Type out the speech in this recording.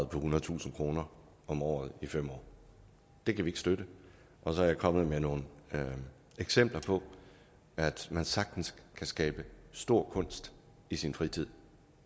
ethundredetusind kroner om året i fem år det kan vi ikke støtte og så er jeg kommet med nogle eksempler på at man sagtens kan skabe stor kunst i sin fritid